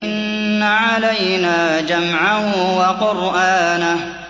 إِنَّ عَلَيْنَا جَمْعَهُ وَقُرْآنَهُ